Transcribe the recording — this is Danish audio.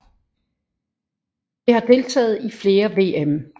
Det har deltaget i flere VM